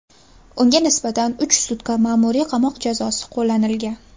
Unga nisbatan uch sutka ma’muriy qamoq jazosi qo‘llanilgan.